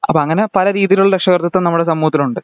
അപ്പൊ അങ്ങനെ പലരീതിയിൽ ഉള്ള രക്ഷാകർത്തിതം നമ്മടെ സമൂഹത്തിൽ ഉണ്ട്